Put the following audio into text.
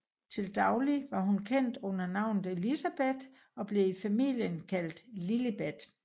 Til daglig var hun kendt under navnet Elizabeth og blev i familien kaldt Lilibet